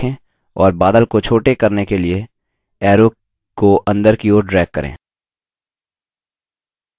अब बाएँ mouse button को दबाकर रखें और बादल को छोटे करने के लिए arrow को अंदर की ओर drag करें